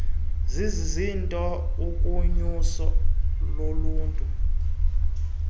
zizizinto kunyuso loluhlu